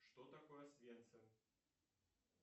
что такое освенцим